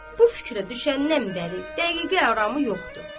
Bu fikrə düşəndən bəri dəqiqə aramı yoxdur.